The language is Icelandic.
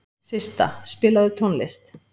Systa, spilaðu tónlist.